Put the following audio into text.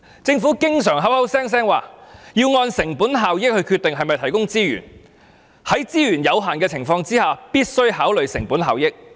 政府經常口口聲聲說要按成本效益來決定是否提供資源，在資源有限的情況下，必須考慮成本效益。